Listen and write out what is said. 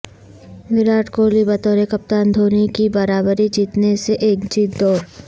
وراٹ کوہلی بطور کپتان دھونی کی برابری کرنے سے ایک جیت دور